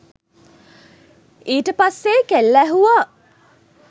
ඊට පස්සේ කෙල්ල ඇහුව